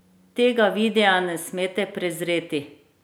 Tega videa ne smete prezreti!